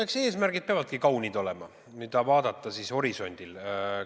Eks eesmärgid peavadki kaunid olema, kui neid horisondil vaadata.